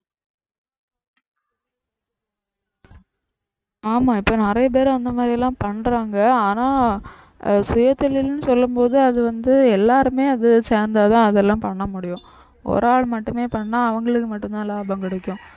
ஆமா இப்ப நிறைய பேர் அந்த மாதிரி எல்லாம் பண்றாங்க ஆனா அஹ் சுயதொழில்னு சொல்லும் போது அது வந்து எல்லாருமே அது சேர்ந்தாதான் அதெல்லாம் பண்ண முடியும் ஒரு ஆள் மட்டுமே பண்ணா அவங்களுக்கு மட்டும்தான் லாபம் கிடைக்கும்